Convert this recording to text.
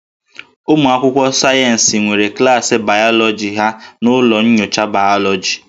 Ụmụ akwụkwọ sayensị nwere klaasị bayọlọji ha n'ụlọ nyocha bayọlọji